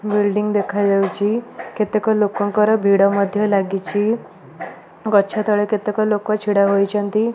Building ଦେଖା ଯାଉଛି କେତେକ ଲୋକଙ୍କର ଭିଡ ମଧ୍ୟ ଲାଗିଛି ଗଛ ତଳେ କେତେକ ଲୋକ ଛିଡ଼ା ହୋଇଛନ୍ତି।